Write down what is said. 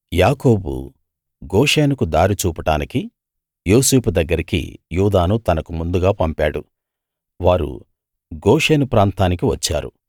యాకోబు గోషెనుకు దారి చూపడానికి యోసేపు దగ్గరికి యూదాను తనకు ముందుగా పంపాడు వారు గోషెను ప్రాంతానికి వచ్చారు